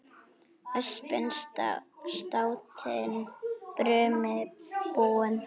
Öspin státin brumi búin.